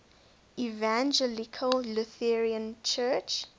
evangelical lutheran church